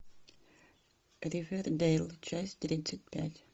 ривердейл часть тридцать пять